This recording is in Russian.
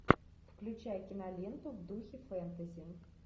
включай киноленту в духе фэнтези